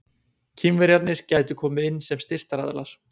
Kínverjarnir gætu komið inn sem styrktaraðilar.